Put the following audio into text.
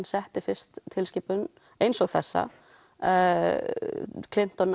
setti fyrst tilskipun eins og þessa